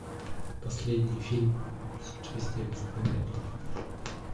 последний фильм с участием стэна ли